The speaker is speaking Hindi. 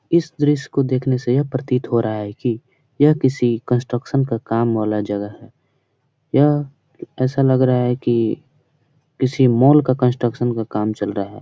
इस दृश्य को देखने से यह प्रतीत हो रहा है की यह किसी कंस्ट्रक्शन का काम वाला जगह है । यह ऐसा लग रहा है की किसी मॉल का कंस्ट्रक्शन का काम चल रहा है ।